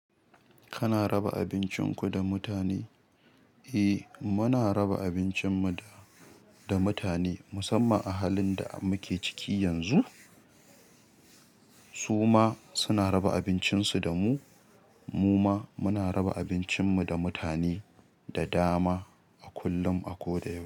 Kana raba abincinku da mutane? Eh muna raba abincin mu da mutane musamman a halin da muke ciki yanzu. Su ma suna raba abincin su da mu. Mu ma muna raba abincin mu da mutane da dama a kullum a koda yaushe.